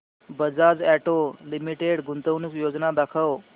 Bajaj auto limited गुंतवणूक योजना दाखव